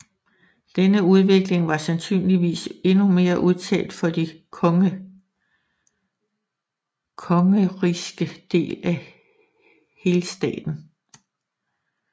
Denne udvikling var sandsynligvis endnu mere udtalt for de kongerigske dele af Helstaten